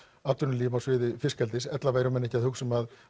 atvinnulíf á sviði fiskeldis ella væru menn ekki að hugsa um að